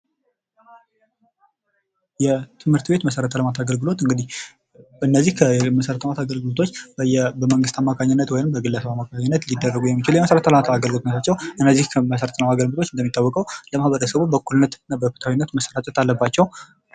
የትምህርት ቤት መሰረተ ልማት አገልግሎት እነዚህ መሰረተ ልማት አገልግሎቶች በግለሰብ አማካኝነት ወይም በመንግስት አማካኝነት ሊደረጉ የሚችሉ የመሰረተ ሁሉምልማት አገልግሎቶች ናቸዉ። እነዚህ በእኩልነት እና በፍትሃዊነት ለሁሉም ማህበረሰብ መሰራጨት አለባቸዉ።